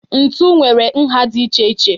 Ntu nwere nha dị iche iche.